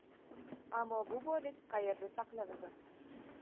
Ammo bu boylik qayerda saqlanadi?